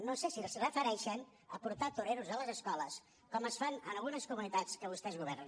no sé si es refereixen a portar toreros a les escoles com es fa en algunes comunitats en què vostès governen